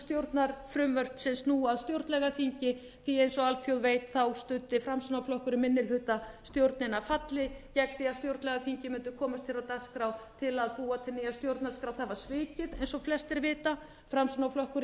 stjórnarfrumvörp sem snúa að stjórnlagaþingi því eins og alþjóð veit studdi framsóknarflokkurinn minnihlutastjórnina falli gegn því að stjórnlagaþingið mundi komast hér á dagskrá til að búa til nýja stjórnarskrá það var svikið eins og flestir vita framsóknarflokkurinn